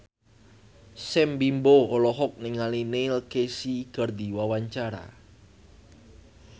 Sam Bimbo olohok ningali Neil Casey keur diwawancara